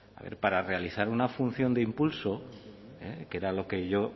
a ver para realizar una función de impulso que era lo que yo